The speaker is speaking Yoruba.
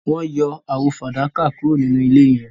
wón yọ àwo fadakà kúrò ninú ilé yen